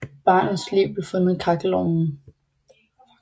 Barnets lig blev fundet i kakkelovnen